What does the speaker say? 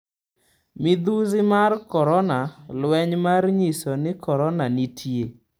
Midhusi mar korona: Lweny mar nyiso ni Korona nitie